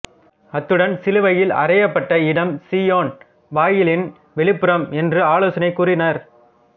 அத்துடன் சிலுவையில் அறையப்பட்ட இடம் சீயோன் வாயிலின் வெளிப்புறம் என்று ஆலோசனை கூறினார்